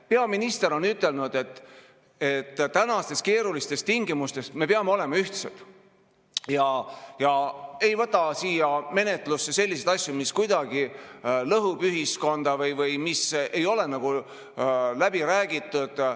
Peaminister on ütelnud, et tänastes keerulistes tingimustes me peame olema ühtsed ega tohi võtta siia menetlusse selliseid asju, mis kuidagi lõhuvad ühiskonda või mis ei ole läbi räägitud.